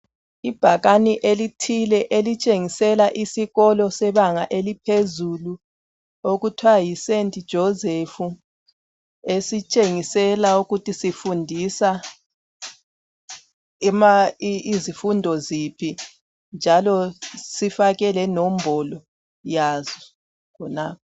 Ibhakane elithile elitshengisela isikolo sebanga eliphezulu okuthwa yiSt Joseph esitshengisela ukuthi sifundisa izifundo ziphi njalo sifake lenombolo yaso khonapho.